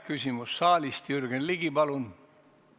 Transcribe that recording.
Küsimus saalist, Jürgen Ligi, palun!